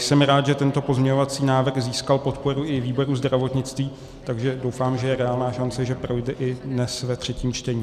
Jsem rád, že tento pozměňovací návrh získal podporu i výboru zdravotnictví, takže doufám, že je reálná šance, že projde i dnes ve třetím čtení.